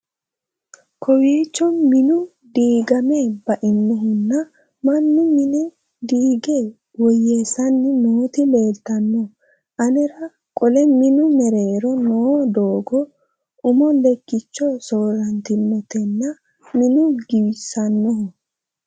kowiicho minu diigame bainohunna mannu mine diige woyyeessani nooti leeltanno anera qole minu mereero noo doogo umo lekkicho soorantinotenna minu giwisannoho